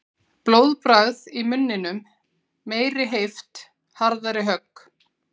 Blóðbragð í munninum. meiri heift. harðari högg.